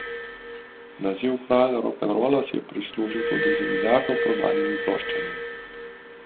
Naziv Kralj rokenrola si je prislužil tudi z milijardo prodanimi ploščami.